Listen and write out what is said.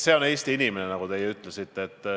See on Eesti inimene, nagu te ütlesite.